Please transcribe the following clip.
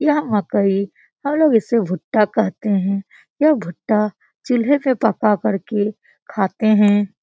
यह मकई हम लोग इसको भुट्टा कहते हैं यह भुट्टा चूल्हे पर पका करके खाते हैं।